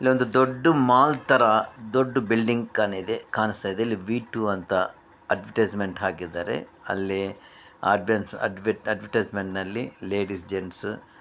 ಅಲ್ಲಿ ಒಂದು ದೊಡ್ಡ ಮಾಲ್ ತರ ದೊಡ್ಡ ಬಿಲ್ಡಿಂಗ್ ಕಾಣ್ ಇದೇ ಕಾಣಿಸ್ತಾ ಇದೆ. ಇಲ್ಲಿ ವೀ ಟೂ ಅಂತ ಅಡ್ವಟೈಸ್ಮೆಂಟ್ ಹಾಕಿದ್ದಾರೆ. ಅಲ್ಲಿ ಆಡಿಯನ್ಸ್ ಅದ್ವಿ ಅಡ್ವರ್ಟೈಸ್ಮೆಂಟ್ ನಲ್ಲಿ ಲೇಡೀಸ್ ಜೆಂಟ್ಸ್ --